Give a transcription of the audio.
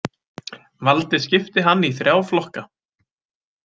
Valdi skipti hann í þrjá flokka.